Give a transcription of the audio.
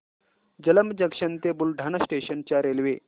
Jalamb junction ते Buldhana station च्या railway